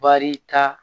Baarita